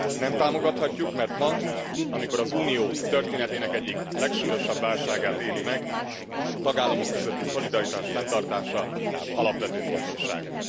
Nem támogathatjuk, mert ma, amikor az Unió történetének egyik legsúlyosabb válásgát éli meg a tagállamok közötti szolidaritás fenntartása alapvető fontosságú.